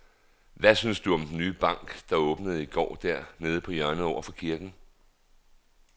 Hvad synes du om den nye bank, der åbnede i går dernede på hjørnet over for kirken?